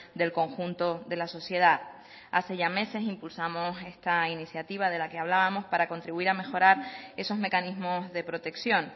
del conjunto de la sociedad hace ya meses impulsamos esta iniciativa de la que hablábamos para contribuir a mejorar esos mecanismos de protección